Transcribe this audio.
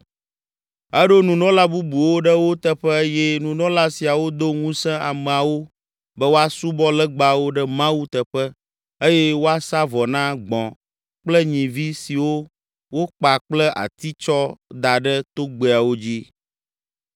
Eɖo nunɔla bubuwo ɖe wo teƒe eye nunɔla siawo do ŋusẽ ameawo be woasubɔ legbawo ɖe Mawu teƒe eye woasa vɔ na gbɔ̃ kple nyivi siwo wokpa kple ati tsɔ da ɖe togbɛawo dzi.